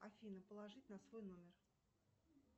афина положить на свой номер